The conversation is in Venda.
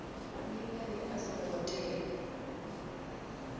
ndi ngani a songo tea